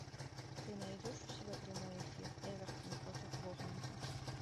ты найдешь у себя прямой эфир эвертон против борнмута